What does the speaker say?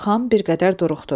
Xan bir qədər duruxdu.